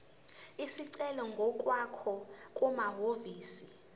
isicelo ngokwakho kumahhovisi